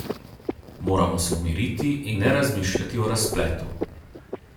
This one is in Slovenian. Moramo se umiriti in ne razmišljati o razpletu.